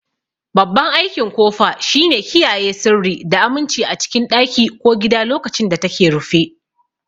Babban aikin kofa shine kiyaye sirri da aminci a cikin ɗaki ko gida lokacin da take rufe.